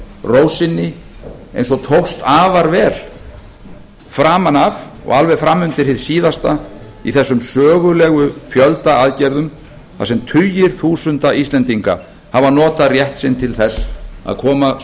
ró sinni eins og tókst afar vel framan af og alveg fram undir hið síðasta í þessum sögulegu fjöldaaðgerðum þar eru tugir þúsunda íslendinga hafa notað rétt sinn til þess að koma